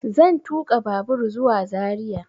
Zan tuƙa babur zuwa zaria